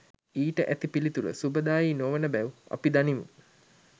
ඊට ඇති පිළිතුර සුබදායී නොවන බැව් අපි දනිමු